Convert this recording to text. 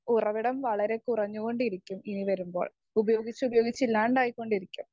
Speaker 1 ഉറവിടം വളരെ കുറഞ്ഞു കൊണ്ടിരിക്കും ഇനി വരുമ്പോൾ ഉപയോഗിച്ച് ഉപയോഗിച്ച് ഇല്ലാണ്ടായി കൊണ്ടിരിക്കും.